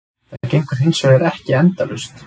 Það gengur hins vegar ekki endalaust.